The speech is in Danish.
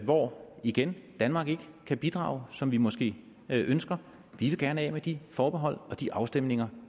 hvor igen danmark ikke kan bidrage som vi måske ønsker vi vil gerne af med de forbehold og de afstemninger